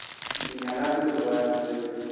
যে মেলাগুলো হয় আমাদের এখানে